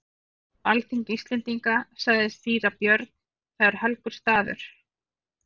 Við erum á alþingi Íslendinga, sagði síra Björn,-það er helgur staður.